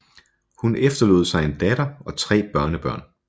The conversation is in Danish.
Hun efterlod sig en datter og tre børnebørn